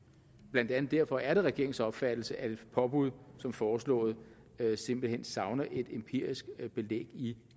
blandt andet derfor er det regeringens opfattelse at et påbud som foreslået simpelt hen savner et empirisk belæg i